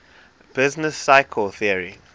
business cycle theory